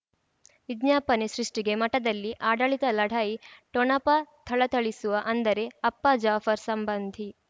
ವಿಜ್ಞಾಪನೆ ಸೃಷ್ಟಿಗೆ ಮಠದಲ್ಲಿ ಆಡಳಿತ ಲಢಾಯಿ ಠೊಣಪ ಥಳಥಳಿಸುವ ಅಂದರೆ ಅಪ್ಪ ಜಾಫರ್ ಸಂಬಂಧಿ